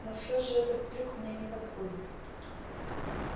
но всё же этот трюк мне не подходит